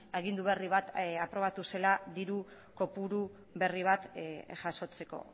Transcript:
agindu berri bat aprobatu zela diru kopuru berri bat jasotzeko